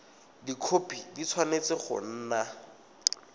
dikhopi di tshwanetse go nna